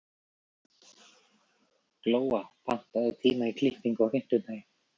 Glóa, pantaðu tíma í klippingu á fimmtudaginn.